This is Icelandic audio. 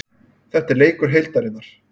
Þetta er leikur heildarinnar.